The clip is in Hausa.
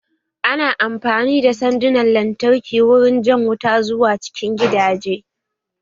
Ana amfani da sandunan lantarki wurin jan wuta zuwa cikin gidaje